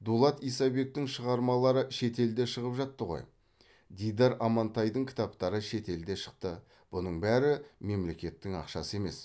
дулат исабектің шығармалары шетелде шығып жатты ғой дидар амантайдың кітаптары шетелде шықты бұның бәрі мемлекеттің ақшасы емес